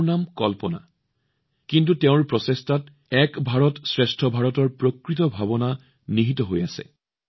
তেওঁৰ নাম কল্পনা কিন্তু তেওঁৰ প্ৰচেষ্টা এক ভাৰত শ্ৰেষ্ঠ ভাৰতৰ প্ৰকৃত আত্মাৰে পূৰ্ণ হৈ আছে